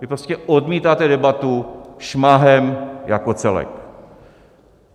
Vy prostě odmítáte debatu šmahem jako celek!